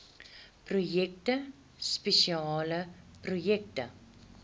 projekte spesiale projekte